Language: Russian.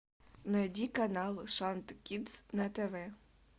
найди канал шант кидс на тв